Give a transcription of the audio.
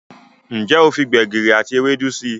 Njé o fí gbegiri àti Ewédú sí?